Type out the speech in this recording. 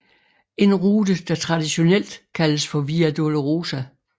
En rute der traditionelt kaldes for Via Dolorosa